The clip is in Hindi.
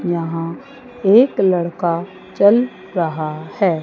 यहां एक लड़का चल रहा है।